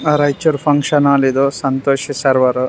Raichur function hall ಇದು Santosh server